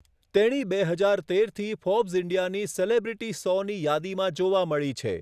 તેણી બે હજાર તેરથી ફોર્બ્સ ઇન્ડિયાની સેલિબ્રિટી સોની યાદીમાં જોવા મળી છે.